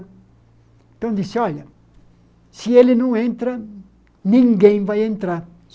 Então disse, olha, se ele não entra, ninguém vai entrar.